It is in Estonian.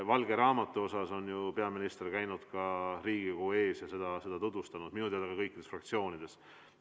Valge raamatu teemal on peaminister käinud Riigikogu ees ja tutvustanud seda minu teada ka kõikides fraktsioonides.